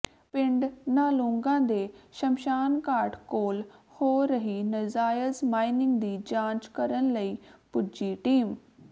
ਪਿੰਡ ਨਾਲੂਂਗਾ ਦੇ ਸ਼ਮਸ਼ਾਨਘਾਟ ਕੋਲ ਹੋ ਰਹੀ ਨਜਾਇਜ਼ ਮਾਇਨਿੰਗ ਦੀ ਜਾਂਚ ਕਰਨ ਲਈ ਪੁੱਜੀ ਟੀਮ